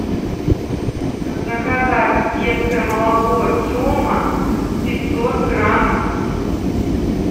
заказать детское молоко тема пятьсот грамм